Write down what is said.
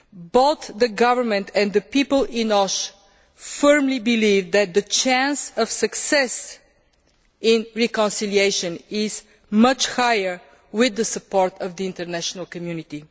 Both the government and the people in Osh firmly believe that the chance of success for reconciliation is much higher with the support of the international community.